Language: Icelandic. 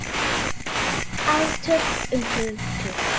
Átök um hugtök.